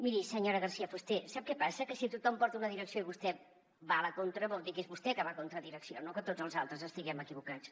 miri senyora garcía fuster sap què passa que si tothom porta una direcció i vostè va a la contra vol dir que és vostè que va contra direcció no que tots els altres estiguem equivocats